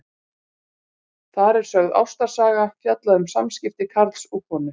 Þar er sögð ástarsaga, fjallað um samskipti karls og konu.